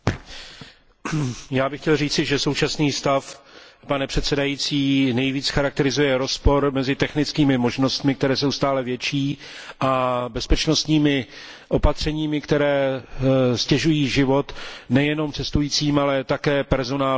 Já bych chtěl říci, že současný stav nejvíc charakterizuje rozpor mezi technickými možnostmi, které jsou stále větší, a bezpečnostními opatřeními, která ztěžují život nejenom cestujícím, ale také personálu na letištích.